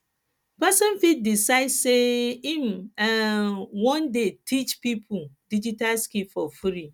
persin fit decide say im um won de teach pipo digital skills for free